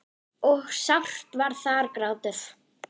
og sárt var þar grátið.